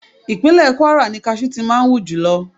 Ìpínlẹ̀ Kúwárà ni kajú ti máa ń hù jùlọ.